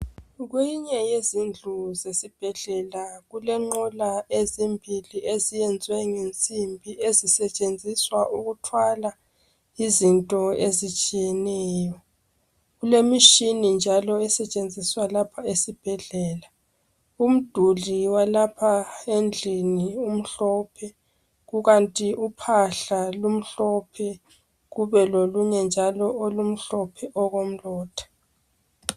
kweyinye yezindlu zesibhedlela kulenqola ezimbili eziyenziwe ngensimbi ezisetshenziswa ukuthwala izinto ezitshiyeneyo kulemitshini njalo esetshenziswa lapha esibhedlela umduli walapha endlini umhlophe kukanti uphahla lumhlophe kube lolunye njalo olumhlophe okomlotha